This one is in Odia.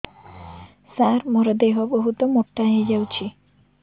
ସାର ମୋର ଦେହ ବହୁତ ମୋଟା ହୋଇଯାଉଛି